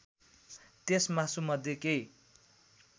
त्यस मासुमध्ये केही